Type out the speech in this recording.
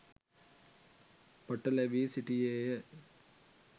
පටලැවී සිටියේය.